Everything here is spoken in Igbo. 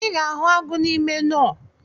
I ga-ahụ agụ n’ime nọ